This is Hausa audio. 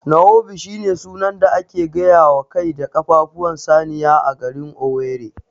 Nkwobi shine sunan da ake gayawa kai da ƙafafuwan saniya a garin Owerri